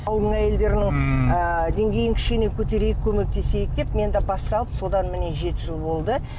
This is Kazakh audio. ауылдың әйелдерінің ммм ы деңгейін кішкене көтерейік көмектесейік деп мен де бас салып содан міне жеті жыл болды